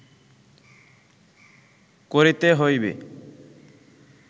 করিতে হইবে